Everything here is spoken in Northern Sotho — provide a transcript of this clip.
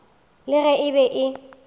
le ge e be e